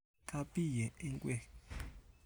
Kaabiye nkweek